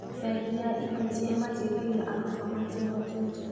Bengi ya Equity ĩmateithagia arutwo matehotete.